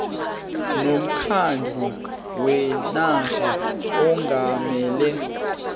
nomkhandlu wenarha ongamele